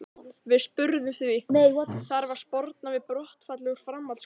Við spurðum því, þarf að sporna við brottfalli úr framhaldsskólum?